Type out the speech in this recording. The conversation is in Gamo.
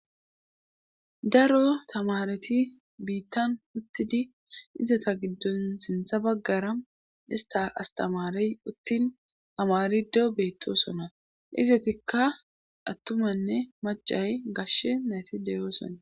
Daro tamareti biittan huttidi izata giddon sintha baggara ista astamare uttin tamariddo beetto sona izatikka attumanne macay gashshe nayti deyoo sona.